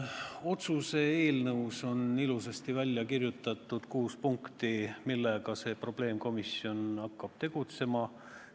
Otsuse eelnõus on ilusasti välja kirjutatud kuus punkti, mille kallal see probleemkomisjon hakkab tegutsema.